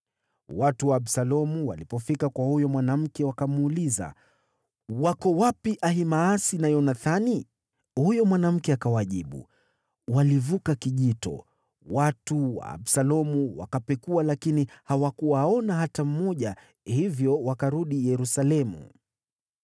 Watu wa Absalomu walipofika kwa huyo mwanamke, wakamuuliza, “Wako wapi Ahimaasi na Yonathani?” Huyo mwanamke akawajibu, “Walivuka kijito.” Watu wa Absalomu wakapekua lakini hawakuwaona hata mmoja, hivyo wakarudi Yerusalemu.